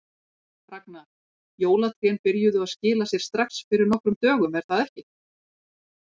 Ragna, jólatrén byrjuðu að skila sér strax fyrir nokkrum dögum er það ekki?